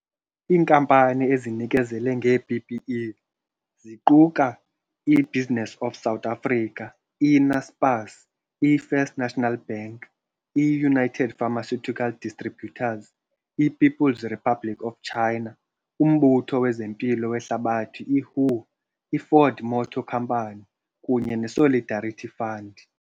Iinkampani ezinikezele ngee-PPE, ziquka i-Business for South Africa, i-Naspers, i-First National Bank, i-United Pharmaceutical Distributors, i-People's Republic of China, uMbutho wezeMpilo weHlabathi i-WHO, i-Ford Motor Company kunye ne-Solidarity Fund.